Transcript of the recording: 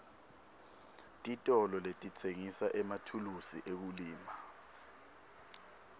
titolo letitsengisa emathulusi ekulima